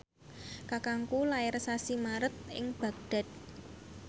kakangku lair sasi Maret ing Baghdad